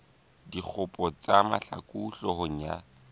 dikgopo tsa mahlaku hloohong ya